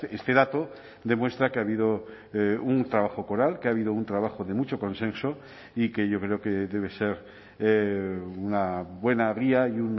este dato demuestra que ha habido un trabajo coral que ha habido un trabajo de mucho consenso y que yo creo que debe ser una buena guía y